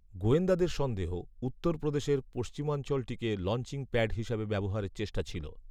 গোয়েন্দাদের সন্দেহ, উত্তরপ্রদেশের পশ্চিমাঞ্চলটিকে লঞ্চিং প্যাড হিসাবে ব্যবহারের চেষ্টা ছিল